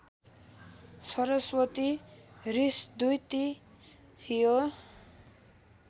सरस्वती हृषद्वती थियो